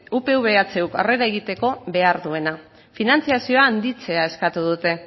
upv ehu aurrera egiteko behar duena finantzazioa handitzea eskatu dute